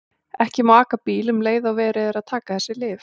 Ekki má aka bíl um leið og verið er að taka þessi lyf.